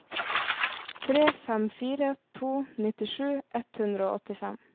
tre fem fire to nittisju ett hundre og åttifem